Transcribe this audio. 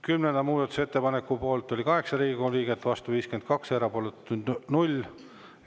Kümnenda muudatusettepaneku poolt oli 8 Riigikogu liiget, vastu 52, erapooletuid 0.